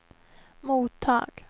mottag